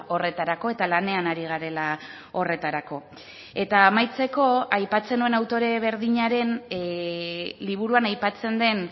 horretarako eta lanean ari garela horretarako eta amaitzeko aipatzen nuen autore berdinaren liburuan aipatzen den